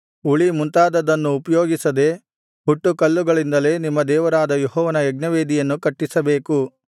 ಉಳಿ ಮುಂತಾದದ್ದನ್ನು ಉಪಯೋಗಿಸದೆ ಹುಟ್ಟುಕಲ್ಲುಗಳಿಂದಲೇ ನಿಮ್ಮ ದೇವರಾದ ಯೆಹೋವನ ಯಜ್ಞವೇದಿಯನ್ನು ಕಟ್ಟಿಸಬೇಕು